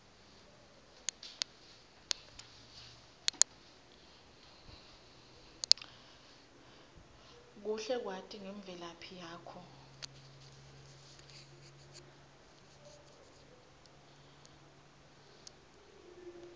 kuhle kwati ngemvelaphi yakho